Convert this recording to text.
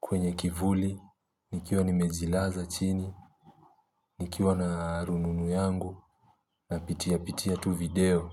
kwenye kivuli, nikiwa nimezilaza chini, nikiwa na rununu yangu, napitia pitia tu video.